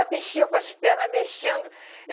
A bichinha com as pernas mexendo.